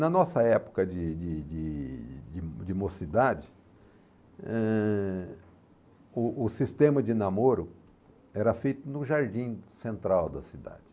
Na nossa época de de de de de mocidade, eh, o o sistema de namoro era feito no jardim central da cidade.